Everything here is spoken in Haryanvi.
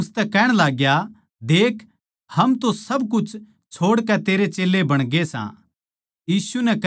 पतरस उसतै कहण लाग्या देख हम तो सब कुछ छोड़कै तेरे चेल्लें बणगे सा